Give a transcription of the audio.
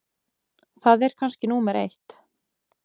Það er kannski númer eitt.